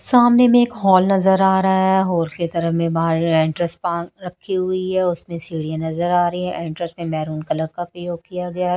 सामने मे एक हॉल नज़र आ रहा है हॉल के तरफ में बाहर एंट्रेंस पार्क रखी हुई है उसमें सीढ़ी नज़र आ रही है एंट्रेंस मे मैरून कलर का प्रयोग किया गया है।